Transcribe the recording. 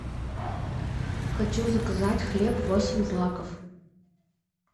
хочу заказать хлеб восемь злаков